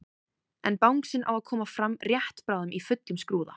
En bangsinn á að koma fram rétt bráðum í fullum skrúða.